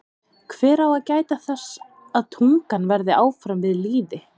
Hver á að gæta þess að tungan verði áfram við lýði?